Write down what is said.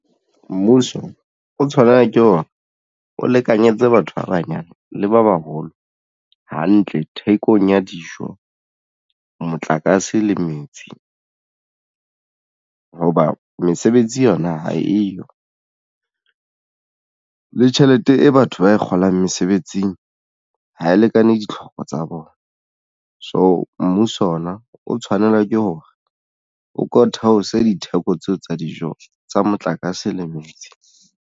Mmuso o tshwanela ke ona o lekanyetse batho ba banyane le ba baholo hantle thekong ya dijo motlakase le metsi. Hoba mesebetsi yona ha eyo le tjhelete e batho ba e kgolang mesebetsing ha e lekane ditlhoko tsa bona. So, mmuso ona o tshwanela ke hore o ko theose ditheko tseo tsa dijo tsa motlakase le metsi.